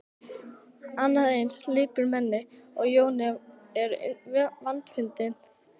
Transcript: Annað eins lipurmenni og Jón er vandfundið.